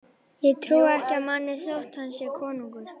Ég trúi ekki manni þótt hann sé konungur.